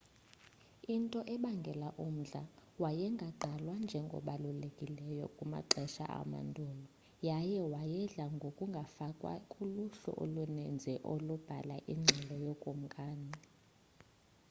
into ebangela umdla wayengagqalwa njengobalulekileyo kumaxesha amanduula yaye wayedla ngokungafakwa kuluhlu oluninzi olwalubhala ingxelo yookumkani